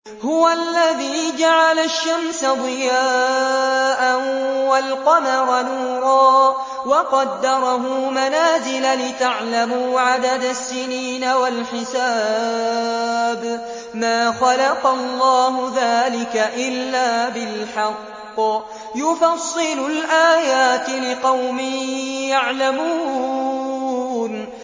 هُوَ الَّذِي جَعَلَ الشَّمْسَ ضِيَاءً وَالْقَمَرَ نُورًا وَقَدَّرَهُ مَنَازِلَ لِتَعْلَمُوا عَدَدَ السِّنِينَ وَالْحِسَابَ ۚ مَا خَلَقَ اللَّهُ ذَٰلِكَ إِلَّا بِالْحَقِّ ۚ يُفَصِّلُ الْآيَاتِ لِقَوْمٍ يَعْلَمُونَ